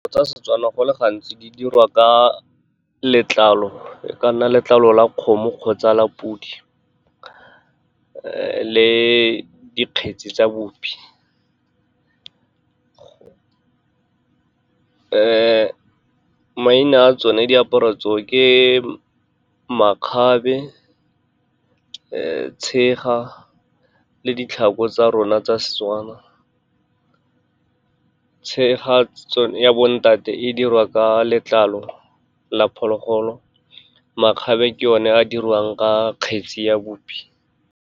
Tsa seTswana, go le gantsi di dirwa ka letlalo, e ka nna letlalo la kgomo kgotsa podi le dikgetsi tsa bupi. Maina a tsone diaparo tse o ke makgabe, tshega, le ditlhako tsa rona tsa seTswana. Tshega ya bo ntate e dirwa ka letlalo la phologolo, makgabe ke o ne e diriwang ka kgetse ya bupi.